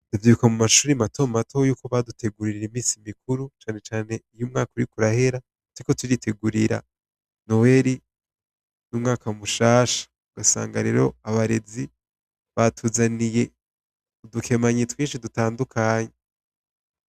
Ndavyibuka mu mashuri matomato yuko badutegurira imisi mikuru cane cane uyo umwaka uriko urahera turiko turitegurira noweri n'umwaka mushasha. Ugasanga rero abarezi batuzaniye udukemanyi twinshi dutandukanye.